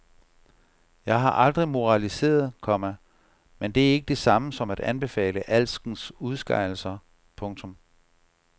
Jeg har aldrig moraliseret, komma men det er ikke det samme som at anbefale alskens udskejelser. punktum